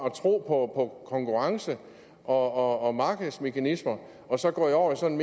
at tro på konkurrence og og markedsmekanismer og så er gået over i sådan